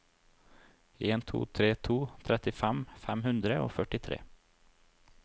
en to tre to trettifem fem hundre og førtitre